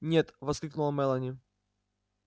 нет воскликнула мелани